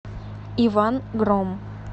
иван гром